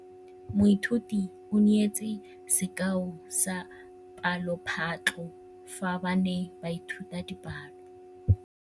Moithuti o neetse sekaô sa palophatlo fa ba ne ba ithuta dipalo.